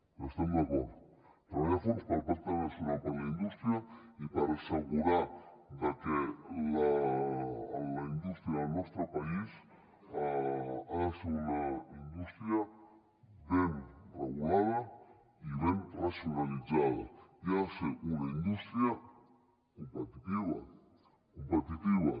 hi estem d’acord treballar a fons pel pacte nacional per a la indústria i per assegurar que la indústria del nostre país ha de ser una indústria ben regulada i ben racionalitzada i ha de ser una indústria competitiva